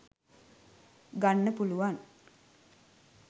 ගන්න පුළුවන්